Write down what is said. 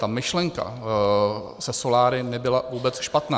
Ta myšlenka se soláry nebyla vůbec špatná.